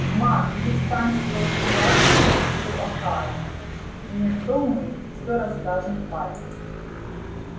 ма перестань строить глазки мистеру охара не то мы всё расскажем папе